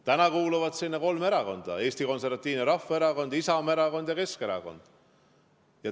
Täna kuuluvad sinna kolm erakonda: Eesti Konservatiivne Rahvaerakond, Isamaa Erakond ja Keskerakond.